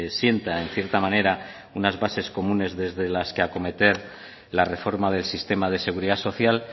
sienta en cierta manera unas bases comunes desde las que acometer la reforma del sistema de seguridad social